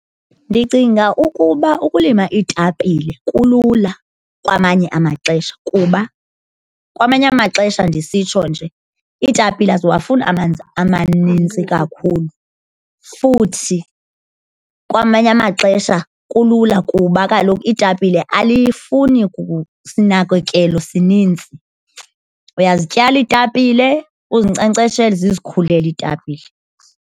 Ndicinga ukuba ukulima iitapile kulula kwamanye amaxesha kuba kwamanye amaxesha ndisitsho nje iitapile aziwafuna amanzi amaninzi kakhulu, futhi kwamanye amaxesha kulula kuba kaloku iitapile alifuni sinakekelo sininzi. Uyazityala iitapile uzinkcenkceshele zizikhulela iitapile.